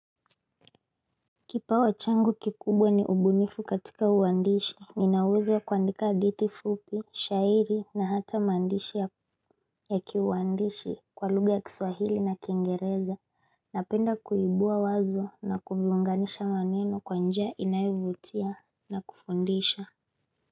Kipawa changu kikubwa ni ubunifu katika uandishi ninauwezo wa kuandika hadithi fupi shairi na hata maandishi ya kiuandishi kwa lugha ya kiswahili na kiingereza na penda kuibua wazo na kuviunganisha maneno kwa njia inayovutia na kufundisha.